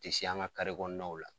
U te s'an Ka kare kɔnɔnaw la